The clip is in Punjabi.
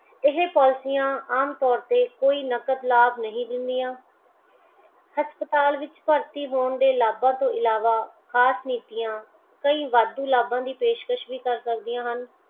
ਏਹੇ ਪੋਲੀਸੀਆਂ ਆਮ ਤੌਰ ਤੇ ਕੋਈ ਨਕਦ ਲਾਭ ਨਹੀਂ ਦਿੰਦੀਆਂਹਮ ਹਸਪਤਾਲ ਵਿੱਚ ਦਾਖਲ ਹੋਣ ਦੇ ਲਾਭਾ ਤੋਂ ਇਲਾਵਾ ਖ਼ਾਸ ਨੀਤੀਆਂ ਕਈ ਵਾਧੂ ਲਾਭਾ ਦੀ ਪੇਸ਼ਕਸ਼ ਵੀ ਕਰ ਸਕਦੀਆਂ ਹਨ